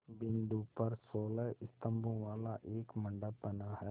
बिंदु पर सोलह स्तंभों वाला एक मंडप बना है